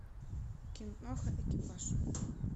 киноха экипаж